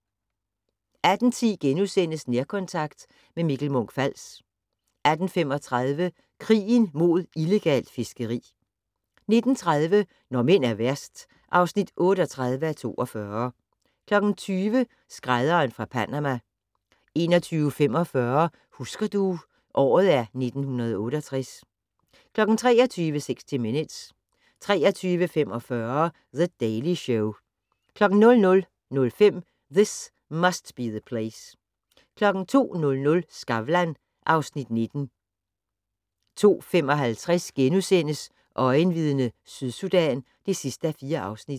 18:10: Nærkontakt - med Mikkel Munch-Fals * 18:35: Krigen mod illegalt fiskeri 19:30: Når mænd er værst (38:42) 20:00: Skrædderen fra Panama 21:45: Husker du - året er 1968 23:00: 60 Minutes 23:45: The Daily Show 00:05: This Must Be the Place 02:00: Skavlan (Afs. 19) 02:55: Øjenvidne - Sydsudan (4:4)*